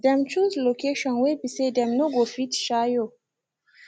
dem choose location whey be say them no go fit shayo